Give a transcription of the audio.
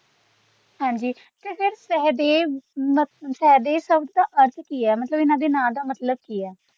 ਹਾਂਜੀ ਤੇ ਫੇਰ ਸਹਿਦੇਵ ਸਹਿਦੇਵ ਸ਼ਬਦ ਦਾ ਅਰਥ ਕਿ ਹੈ ਮੱਲਤਬ ਇੰਨਾ ਦੇ ਨਾਂ ਦਾ ਮਤਲਬ ਕੀ ਹੈ।